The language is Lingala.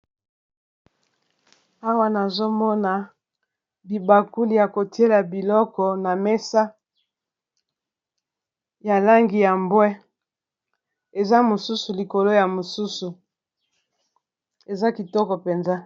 Awa nazomona bibakuli ya kotiela biloko na mesa ya langi ya mbwe eza mosusu likolo ya mosusu eza kitoko mpenza.